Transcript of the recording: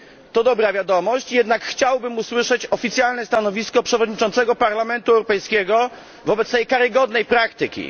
To dobra wiadomość, jednak chciałbym usłyszeć oficjalne stanowisko przewodniczącego Parlamentu Europejskiego wobec tej karygodnej praktyki.